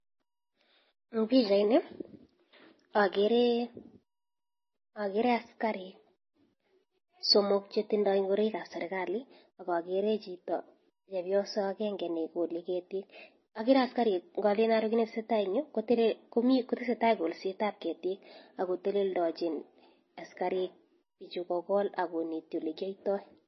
Eng pichait ni akere askarik somok chetindoi ngoroik ap serikali akakere chepyoso akenge nekole ketik akere askarikaker kiy netesetai eng Yu kotesetai kolset ap ketik akoteleldochin askarik pichu kokol akoneti olekiyoitoi.